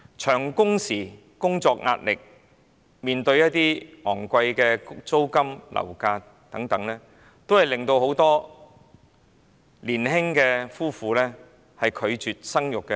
由於工時長、工作壓力大、租金和樓價高昂等，很多年輕夫婦都拒絕生育。